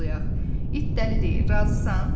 İt dəli deyil, razısan?